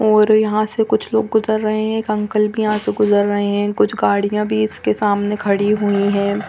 और यहाँ से कुछ लोग गुजर रहे है एक अंकल भी यहाँ से गुजर रहे है कुछ गाड़िया भी इसके सामने खड़ी हुई है।